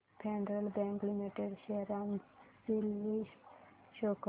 federal Bank Limited share analysis show कर